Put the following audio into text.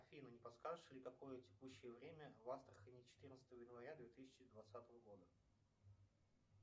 афина не подскажешь ли какое текущее время в астрахани четырнадцатого января две тысячи двадцатого года